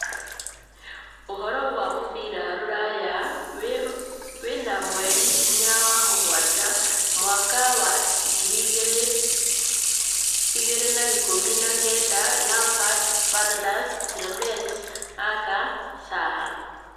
Ũhoro wa mũbira rũraya wena mweri inya wa-mũgwanja Mwaka wa ngiri igĩrĩ na ikũmi na kenda: Lampard, Fernandes, Tielemans, Ake, Zaha